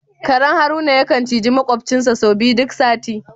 Karen Haruna ya kan ciji maƙwabcinsa sau biyu duk sati.